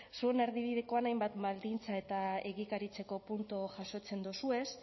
zuen erdibidekoan hainbat baldintza eta egikaritzeko puntu jasotzen dozuez